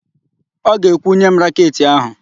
Ọ ga-ekwu, "nye m raketị áhụ̀"!